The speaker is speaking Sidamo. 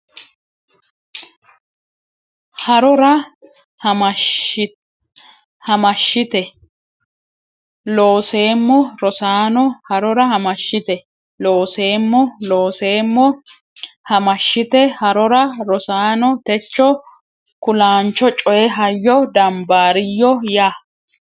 Harora Hamashshite a Looseemmo Rosaano Harora Hamashshite a Looseemmo Looseemmo a Hamashshite Harora Rosaano techo kulaancho coy hayyo dambaariyyo ya !